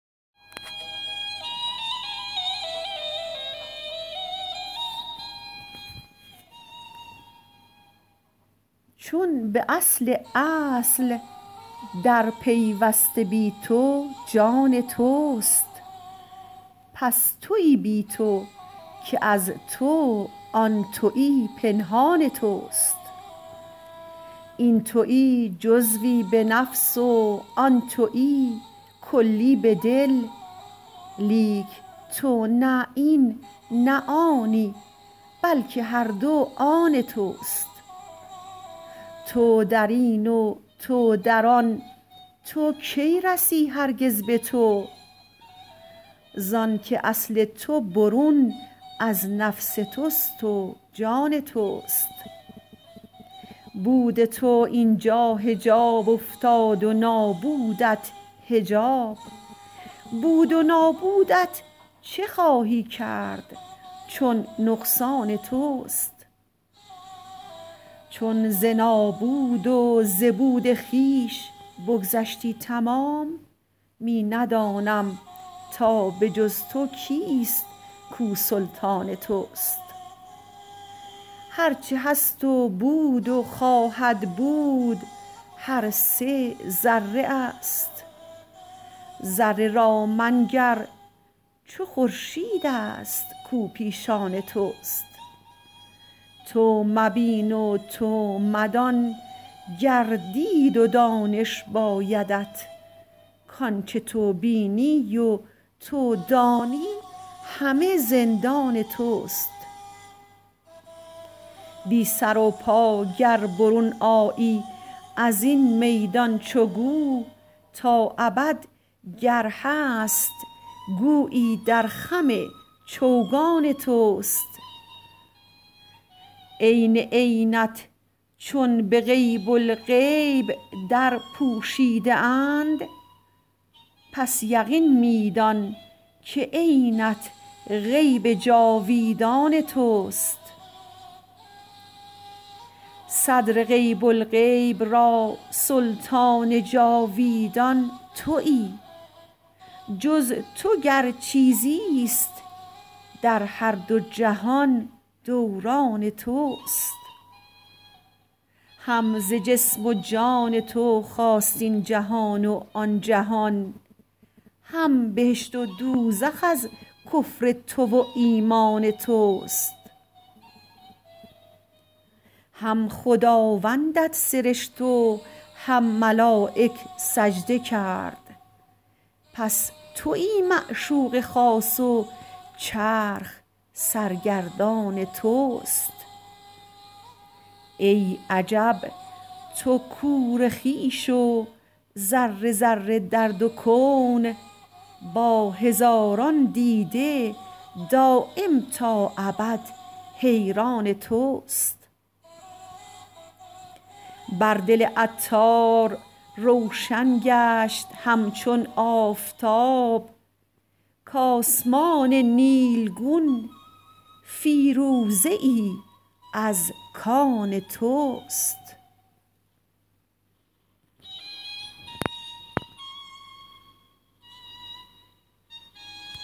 چون به اصل اصل در پیوسته بی تو جان توست پس تویی بی تو که از تو آن تویی پنهان توست این تویی جزوی به نفس و آن تویی کلی به دل لیک تو نه این نه آنی بلکه هر دو آن توست تو درین و تو در آن تو کی رسی هرگز به تو زانکه اصل تو برون از نفس توست و جان توست بود تو اینجا حجاب افتاد و نابودت حجاب بود و نابودت چه خواهی کرد چون نقصان توست چون ز نابود و ز بود خویش بگذشتی تمام می ندانم تا به جز تو کیست کو سلطان توست هر چه هست و بود و خواهد بود هر سه ذره است ذره را منگر چو خورشید است کو پیشان توست تو مبین و تو مدان گر دید و دانش بایدت کانچه تو بینی و تو دانی همه زندان توست بی سر و پا گر برون آیی ازین میدان چو گو تا ابد گر هست گویی در خم چوگان توست عین عینت چون به غیب الغیب در پوشیده اند پس یقین می دان که عینت غیب جاویدان توست صدر غیب الغیب را سلطان جاویدان تویی جز تو گر چیزی است در هر دو جهان دوران توست هم ز جسم و جان تو خاست این جهان و آن جهان هم بهشت و دوزخ از کفر تو و ایمان توست هم خداوندت سرشت و هم ملایک سجده کرد پس تویی معشوق خاص و چرخ سرگردان توست ای عجب تو کور خویش و ذره ذره در دو کون با هزاران دیده دایم تا ابد حیران توست بر دل عطار روشن گشت همچون آفتاب کاسمان نیلگون فیروزه ای از کان توست